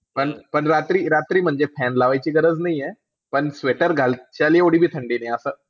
पण रात्री म्हणजे रात्री म्हणजे fan लावायची गरज नाही आहे. पण sweater घालाची एवढी बी थंडी नाही आहे.